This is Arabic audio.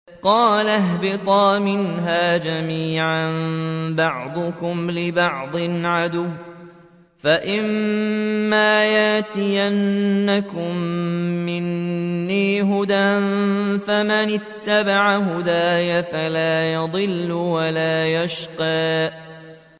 قَالَ اهْبِطَا مِنْهَا جَمِيعًا ۖ بَعْضُكُمْ لِبَعْضٍ عَدُوٌّ ۖ فَإِمَّا يَأْتِيَنَّكُم مِّنِّي هُدًى فَمَنِ اتَّبَعَ هُدَايَ فَلَا يَضِلُّ وَلَا يَشْقَىٰ